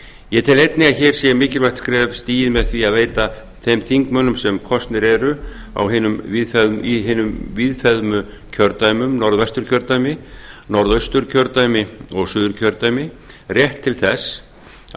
ég tel einnig að hér sé mikilvægt skref stigið með því að veita þeim þingmönnum sem kosnir eru í hinum víðfeðmu kjördæmum norðvesturkjördæmi norðausturkjördæmi og suðurkjördæmi rétt til þess að